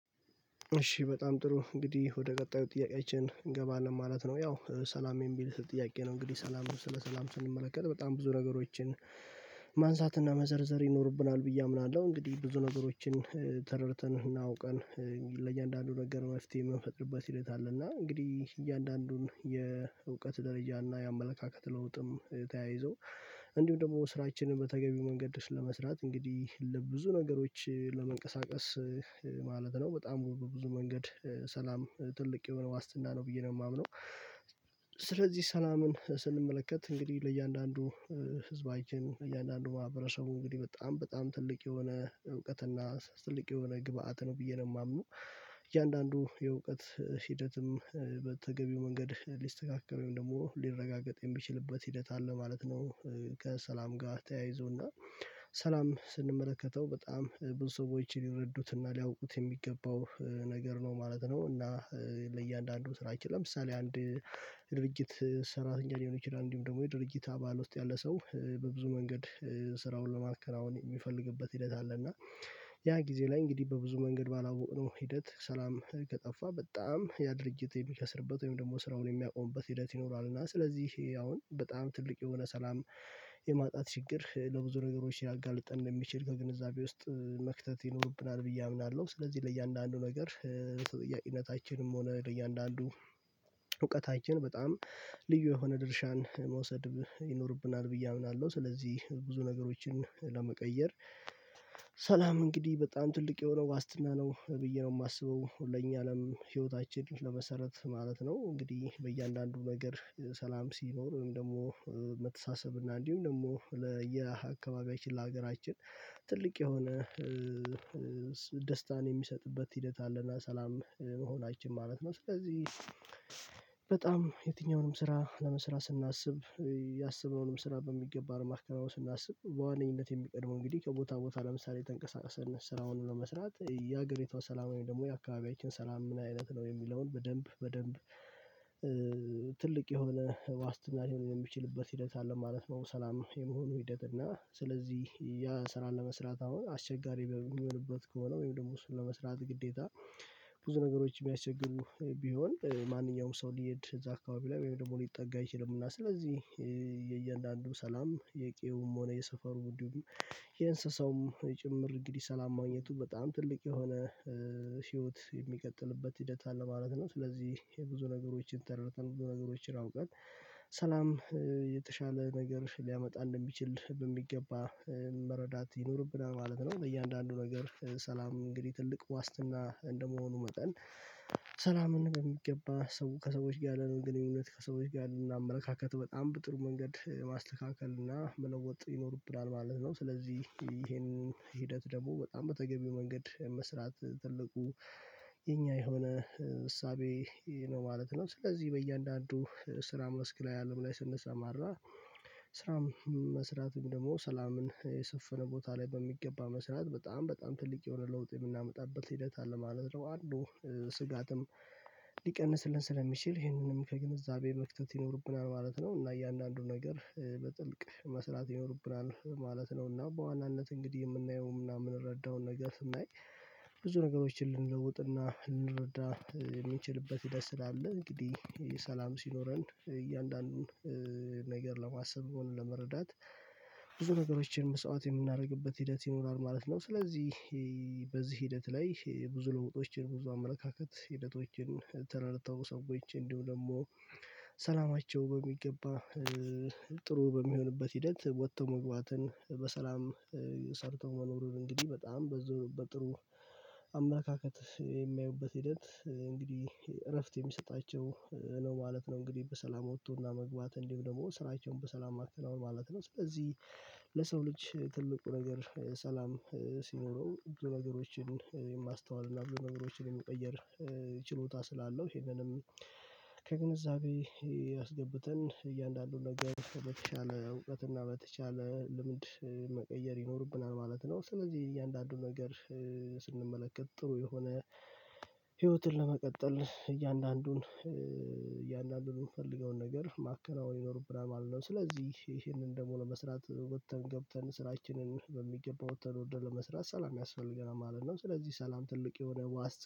እሺ በጣም ጥሩ እንግዲህ ወደ ቀጣዩ ጥያቄያችን እንገባለን ማለት ነው። ያው ሰላም የሚል ጥያቄ ነው እንግዲህ ሰላም ስለ ሰላም ስንመለከት በጣም ብዙ ነገሮችን ማንሳትና መዘርዘር ይኖርብናል ብዬ አምናለሁ እንግዲህ ብዙ ነገሮችን ተረድተን አውቀን ለእያንዳንዱ ነገር ማፍትሄ የምንፈጥርበት ሕደት አለ እና እንግዲህ እያንዳንዱን የእውቀት ደረጃ እና የአመለካከት ለውጥም ተያይዞ እንዲሁም ደግሞ ስራችንን በተገቢው መንገድ ስለመስራት እንግዲህ ለብዙ ነገሮች ለመንቀሳቀስ ማለት ነው በጣም በብዙ መንገድ ሰላም ትልቅ የሆነ ዋስትና ነው ብዬ ነው የማምነው። ስለዚህ ሰላምን ስንመለከት እንግዲህ ለእያንዳንዱ ህዝባችን እያንዳንዱ ማህበረሰቡ እንግዲህ በጣም በጣም ትልቅ የሆነ እውቀትና ትልቅ የሆነ ግብአት ነው ብዬ ነው የማምነው እያንዳንዱ የእውቀት ሂደትም በተገቢው መንገድ ሊስተካከል ወይም ደግሞ ሊረጋገጥ የሚችልበት ሂደት አለ ማለት ነው። ከሰላም ጋር ተያይዞና ሰላም ስንመለከተው በጣም ብዙ ሰዎች ሊረዱትና ሊያውቁት የሚገባው ነገር ነው ማለት ነው። እና ለእያንዳንዱ ስራችን ለምሳሌ አንድ ድርጅት ሰራተኛ ሊሆን ይችላል እንዲሁም ደግሞ የድርጊት አባል ውስጥ ያለ ሰው በብዙ መንገድ ስራውን ለማከናወን የሚፈልግበት ሂደት አለ እና ያ ጊዜ ላይ እንግዲህ በብዙ መንገድ ባላወቅነው ሂደት ሰላም ከጠፋ በጣም ያ ድርጅት የሚከስርበት ወይም ደግሞ ስራውን የሚያቆምበት ሂደት ይኖራል። እና ስለዚህ አሁን በጣም ትልቅ የሆነ ሰላም የማጣት ችግር ለብዙ ነገሮች ልያጋልጠን እንደሚችል ከግንዛቤ ውስጥ መክተት ይኖርብናል ብዬ አምናለሁ። ስለዚህ ለእያንዳንዱ ነገር በተጠያቅነታችም ሆነ በእያንዳንዱ እውቀታችን በጣም ልዩ የሆነ ድርሻን መውሰድ ይኖርብናል ብዬ አምናለሁ። ስለዚህ ብዙ ነገሮችን ለመቀየር ሰላም እንግዲህ በጣም ትልቅ የሆነው ዋስትና ነው ብዬ ነው የማስበው ለኛ አለም ህይወታችን ለመሰረት ማለት ነው። እንግዲህ በእያንዳንዱ ነገር ሰላም ሲኖር ወይም ደግሞ መተሳሰብ እና እንዲሁም ደግሞ ለአካባቢያችን ለሀገራችን ትልቅ የሆነ ደስታን የሚሰጥበት ሂደት አለና ሰላም መሆናችን ማለት ነው። ስለዚህ በጣም የትኛውንም ስራ ለመስራት ስናስብ ያሰበውንም ስራ በሚገባ ለማከናወን ስናስብ በዋነኝነት የሚቀድመው እንግዲህ ከቦታ ቦታ ለምሳሌ ተንቀሳቀሰን ስራውን ለመስራት የሀገሪቷ ሰላማዊ ደግሞ የአካባቢያችን ሰላም ምን አይነት ነው? የሚለውን በደንብ በደንብ ትልቅ የሆነ ዋስትና ልሆን የሚችልበት ሂደት አለ ማለት ነው። ሰላም የመሆኑ ሂደት እና ስለዚህ ያ ስራ ለመስራት አሁን አስቸጋሪ በሚሆንበት ከሆነ ወይም ደግሞ እሱን ለመስራት ግዴታ ብዙ ነገሮች ቢያስቸግሩ ቢሆን ማንኛውም ሰው ሊሄድ እዛ አካባቢ ላይ ወይም ደግሞ ሊጠጋ አይችልም። እና ስለዚህ የእያንዳንዱ ሰላም የቄውም ሆነ የሰፈሩም እንዲሁም የእንስሳውም ጭምር እንግዲህ ሰላም ማግኘቱ በጣም ትልቅ የሆነ ህይወት የሚቀጥልበት ሂደት አለ ማለት ነው። ስለዚህ የብዙ ነገሮችን ተረድተን ብዙ ነገሮችን አውቀን ሰላም የተሻለ ነገር ሊያመጣ እንደሚችል በሚገባ መረዳት ይኖርብናል ማለት ነው። ለእያንዳንዱ ነገር ሰላም እንግዲህ ትልቅ ዋስትና እንደመሆኑ መጠን ሰላምን በሚገባ ሰው ከሰዎች ጋር ያለንን ግንኙነት ከሰዎች ጋር ያለንን አመለካከት በጣም በጥሩ መንገድ ማስተካከል እና መለወጥ ይኖርብናል ማለት ነው። ስለዚህ ይሄንን ሂደት ደግሞ በጣም በተገቢው መንገድ መስራት ትልቁ የኛ የሆነ እሳቤ ነው ማለት ነው። ስለዚህ በእያንዳንዱ ስራ መስክ ላይ አለም ላይ ስንሰማራ ስራም መስራቱን ደግሞ ሰላምን የሰፈነ ቦታ ላይ በሚገባ መስራት በጣም በጣም ትልቅ የሆነ ለውጥ የምናመጣበት ሂደት አለ ማለት ነው። አንዱ ስጋትም ሊቀንስልን ስለሚችል ይህንንም ከግንዛቤ መክተት ይኖርብናል ማለት ነው። እና እያንዳንዱን ነገር በጥልቅ መስራት ይኖርብናል ማለት ነው። እና በዋናነት እንግዲህ የምናየው ምናምን የምንረዳውን ነገር ስናይ ብዙ ነገሮችን ልንለውጥና ልንረዳ የምንችልበት ህደት ስላል እንግዲህ ሰላም ሲኖረን እያንዳንዱን ነገር ለማሰብ ሆነ ለመረዳት ብዙ ነገሮችን መስዋዕት የምናደርግበት ሂደት ይኖራል ማለት ነው። ስለዚህ በዚህ ሂደት ላይ ብዙ ለውጦችን ብዙ አመለካከት ህደቶችን ተረድተው ሰዎች እንዲሁ ደግሞ ሰላማቸው በሚገባ ጥሩ በሚሆንበት ሂደት ወጥቶ መግባትን በሰላም ሰርተው መኖሩን እንግዲህ በጣም በዝውውር በጥሩ አመለካከት የሚያዩበት ሂደት እንግዲህ እረፍት የሚሰጣቸው ነው ማለት ነው እንግዲህ በሰላም ወጥቶና መግባት እንዲሁ ደግሞ ስራቸውን በሰላም ማከናወን ማለት ነው። ስለዚህ ለሰው ልጅ ትልቁ ነገር ሰላም ሲኖረው ብዙ ነገሮችን የማስተዋል እና ብዙ ነገሮችን የሚቀየር ችሎታ ስላለው ይሄንንም ከግንዛቤ አስገብተን እያንዳንዱን ነገር በተቻለ እውቀት እና በተቻለ ልምድ መቀየር ይኖርብናል ማለት ነው። ስለዚህ እያንዳንዱን ነገር ስንመለከት ጥሩ የሆነ ህይወትን ለመቀጠል እያንዳንዱን እያንዳንዱን የምንፈልገውን ነገር ማከናወን ይኖርብናል ማለት ነው። ስለዚህ ይሄንን ደግሞ ለመስራት ወጥተን ገብተን ስራችንን በሚገባው ወተን ወርደን ለመስራት ሰላም ያስፈልገናል ማለት ነው። ስለዚህ ሰላም ትልቅ የሆነ ዋስት